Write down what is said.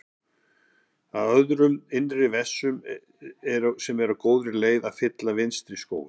um öðrum innri vessum sem eru á góðri leið með að fylla vinstri skóinn.